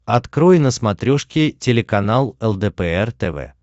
открой на смотрешке телеканал лдпр тв